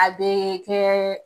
A be kɛ